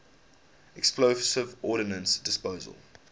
explosive ordnance disposal